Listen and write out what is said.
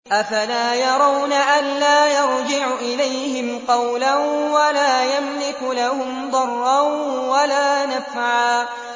أَفَلَا يَرَوْنَ أَلَّا يَرْجِعُ إِلَيْهِمْ قَوْلًا وَلَا يَمْلِكُ لَهُمْ ضَرًّا وَلَا نَفْعًا